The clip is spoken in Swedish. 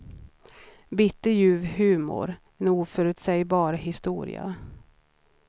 Bitterljuv humor, en oförutsägbar historia.